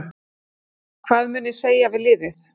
Hvað mun ég segja við liðið?